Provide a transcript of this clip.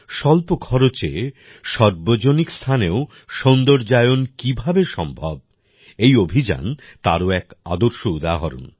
স্বল্প খরচে সর্বজনিক স্থানেও সৌন্দর্যায়ন কীভাবে সম্ভব এই অভিযান তারও এক আদর্শ উদাহরণ